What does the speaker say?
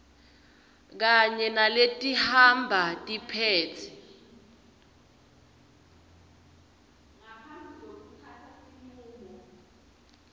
kanye naletihamba tiphetse